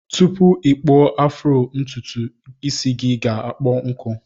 Tupu ikpụọ afro ntụtụ isi gi ga akpọ nkụ.